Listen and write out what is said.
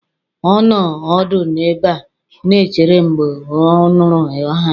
Ọ nọ ọdụ n'ebe a na-echere mgbe ọ nụrụ aha.